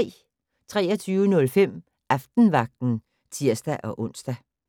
23:05: Aftenvagten (tir-ons)